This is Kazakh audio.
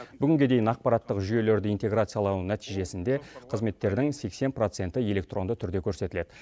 бүгінге дейін ақпараттық жүйелерді интеграциялау нәтижесінде қызметтердің сексен проценті электронды түрде көрсетіледі